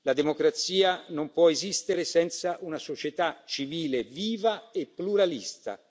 La democrazia non può esistere senza una società civile viva e pluralista.